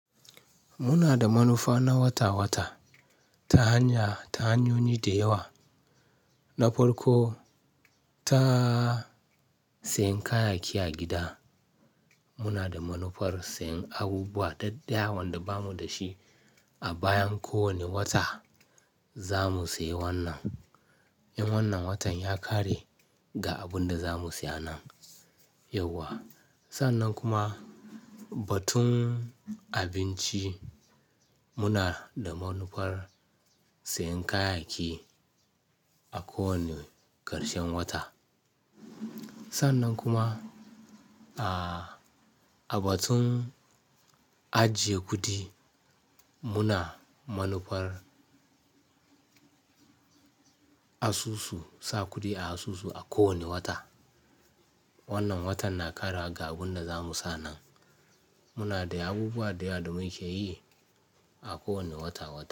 Muna da manufa na wata-wata, ta hanya, ta hanyoyi da yawa, na farko ta sayen kayayyaki a gida. Muna da manufar sayen abubuwa ɗaɗɗaya, wanda bamu da shi a bayan kowane wata zamu sayi wannan. In wannan watan ya ƙare ga abin da zamu siya nan yauwa. Sannan kuma batun abinci, muna da manufar sayen kayayyaki a kowane ƙarshen wata. Sannan kuma a batun ajiye kuɗi, muna manufar asusu, sa kuɗi a asusu a kowane wata. Wannan watan na ƙare ga abin da zamu sa nan. Muna da abubuwa da yawa da muke yi a kowane wata-wata.